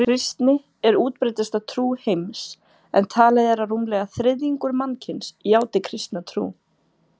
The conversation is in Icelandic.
Kristni er útbreiddasta trú heims en talið er að rúmlega þriðjungur mannkyns játi kristna trú.